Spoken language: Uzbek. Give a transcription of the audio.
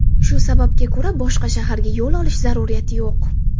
Shu sababga ko‘ra boshqa shaharga yo‘l olish zaruriyati yo‘q.